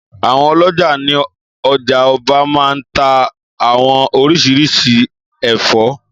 Àwon ọlọ́já ní ọjà Ọba maa n tá àwọn oríṣiríṣi ẹ̀fọ́